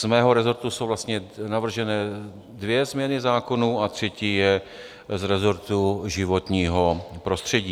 Z mého rezortu jsou vlastně navrženy dvě změny zákonů a třetí je z rezortu životního prostředí.